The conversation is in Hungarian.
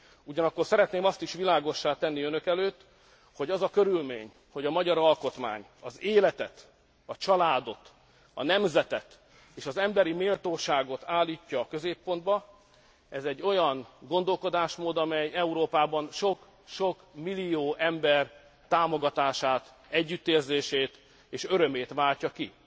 Ugyanakkor szeretném azt is világossá tenni önök előtt, hogy az a körülmény, hogy a magyar alkotmány az életet, a családot, a nemzetet és az emberi méltóságot állítja a középpontba, olyan gondolkodásmód, amely Európában sok sok millió ember támogatását, együttérzését és örömét váltja ki.